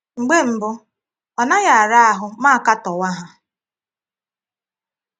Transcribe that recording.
Mgbè mbụ, ọ̀ naghị ara ahụ́ mụ akatọ̀wà hà.